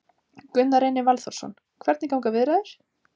Gunnar Reynir Valþórsson: Hvernig ganga viðræður?